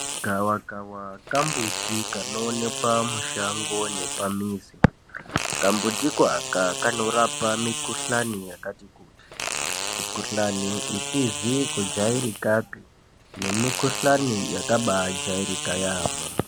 Gavakava kambuti kanoonekwa mushango nepamizi, kambuti akako kanorapa mikuhlani yakati kuti, mikuhlani isizi kujairikapi nemukulani yakambaajairika yamho.